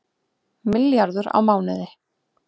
Milljarður á mánuði